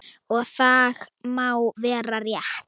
Og það má vera rétt.